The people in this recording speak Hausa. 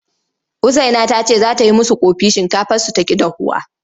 Usaina ta ce za ta yi musu ƙofi shinkafarsu ta ƙi dahuwa.